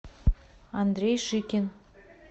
андрей шикин